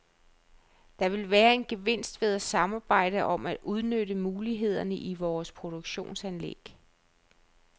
Der vil være en gevinst ved at samarbejde om at udnytte mulighederne i vores produktionsanlæg.